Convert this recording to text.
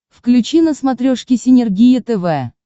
включи на смотрешке синергия тв